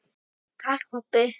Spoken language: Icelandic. Takk, pabbi.